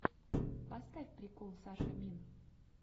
поставь прикол сашамин